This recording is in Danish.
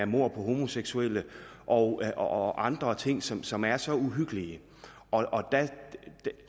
mord på homoseksuelle og og andre ting som som er så uhyggelige